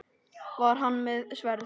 Var hann með sverð?